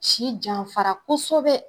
si janfara kosɛbɛ